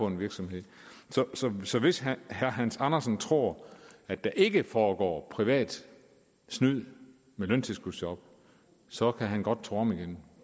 en virksomhed så hvis herre hans andersen tror at der ikke foregår privat snyd med løntilskudsjob så kan han godt tro om igen